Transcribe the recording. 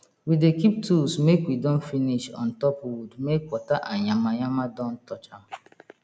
we dey keep tools make we don finish on top wood make water and yama yama don touch am